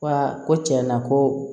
Ko aa ko tiɲɛ na ko